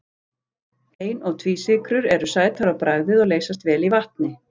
Ein- og tvísykrur eru sætar á bragðið og leysast vel í vatni.